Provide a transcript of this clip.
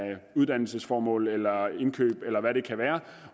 er uddannelsesformål eller indkøb eller hvad det kan være